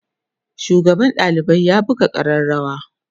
shugaban ɗalibai ya buga arrarawa